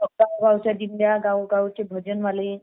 गावोगावच्या दिंड्या गावोगावचे भजनवाले